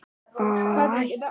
Hún er að sofa úr sér.